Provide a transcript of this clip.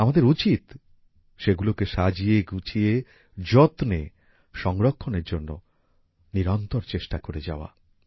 আমাদের উচিত সেগুলোকে সাজিয়ে গুছিয়ে যত্নে সংরক্ষণের জন্য নিরন্তর চেষ্টা করে যাওয়া